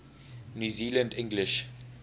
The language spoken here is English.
new zealand english